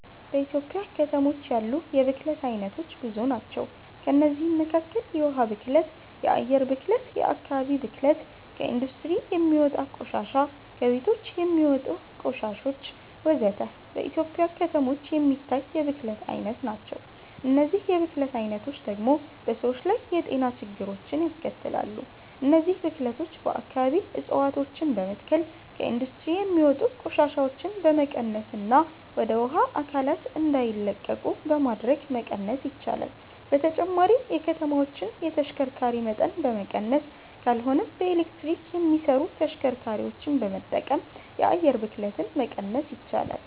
በኢትዮጵያ ከተሞች ያሉ የብክለት አይነቶች ብዙ ናቸው። ከእነዚህም መካከል የውሃ ብክለት፣ የአየር ብክለት፣ የአከባቢ ብክለት፣ ከኢንዱስትሪ የሚወጣ ቆሻሻ፣ ከቤቶች የሚወጣ ቆሻሾች ወዘተ። በኢትዮጵያ ከተሞች የሚታይ የብክለት አይነቶች ናቸው። እነዚህ የብክለት አይነቶች ደግሞ በሰዎች ላይ የጤና ችግሮችን ያስከትላሉ። እነዚህን ብክለቶች በአከባቢ እፀዋቶችን በመትከል፣ ከኢንዱስትሪ የሚወጡ ቆሻሻዎችን በመቀነስና ወደ ውሃ አካላት እንዳይለቁ በማድረግ መቀነስ ይቻላል። በተጨማሪም የከተማዎችን የተሽከርካሪ መጠን በመቀነስ ካልሆነም በኤሌክትሪክ የሚሰሩ ተሽከርካሪዎችን በመጠቀም የአየር ብክለትን መቀነስ ይቻላል።